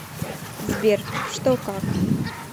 сбер что как